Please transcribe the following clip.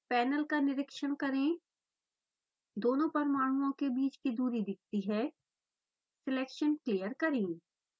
panel का निरिक्षण करेंदोनों परमाणुओं के बीच की दूरी दिखती है सिलेक्शन क्लियर करें